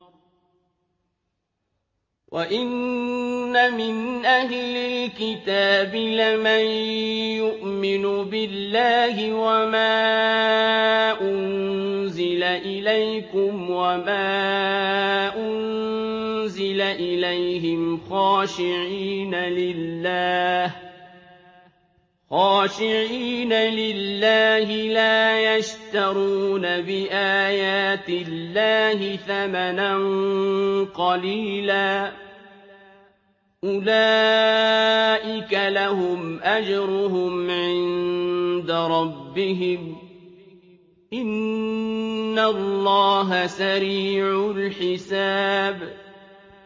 وَإِنَّ مِنْ أَهْلِ الْكِتَابِ لَمَن يُؤْمِنُ بِاللَّهِ وَمَا أُنزِلَ إِلَيْكُمْ وَمَا أُنزِلَ إِلَيْهِمْ خَاشِعِينَ لِلَّهِ لَا يَشْتَرُونَ بِآيَاتِ اللَّهِ ثَمَنًا قَلِيلًا ۗ أُولَٰئِكَ لَهُمْ أَجْرُهُمْ عِندَ رَبِّهِمْ ۗ إِنَّ اللَّهَ سَرِيعُ الْحِسَابِ